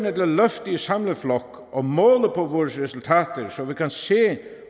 at løfte i samlet flok og måle på vores resultater så vi kan se